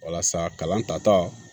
Walasa kalan tata